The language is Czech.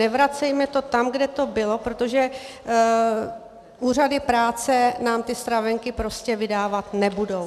Nevracejme to tam, kde to bylo, protože úřady práce nám ty stravenky prostě vydávat nebudou.